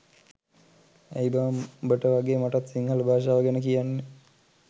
ඇයි බං උඹට වගේ මටත් සිංහල භාෂාව ගැන කියන්න